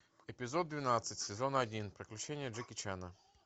эпизод двенадцать сезон один приключения джеки чана